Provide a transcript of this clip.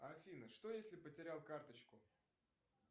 афина что если потерял карточку